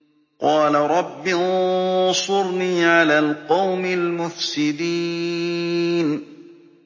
قَالَ رَبِّ انصُرْنِي عَلَى الْقَوْمِ الْمُفْسِدِينَ